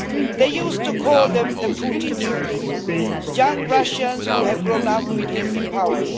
They used to call them the Putin Youth, young Russians who had grown up with him in power.